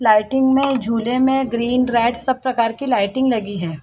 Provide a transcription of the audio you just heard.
Lighting में झूले में ग्रीन रेड सब प्रकार की लाइटिंग लगी हुई है।